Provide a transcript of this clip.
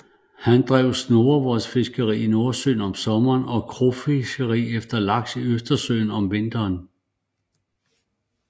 Han drev snurrevodsfiskeri i Nordsøen om sommeren og krogfiskeri efter laks i Østersøen om vinteren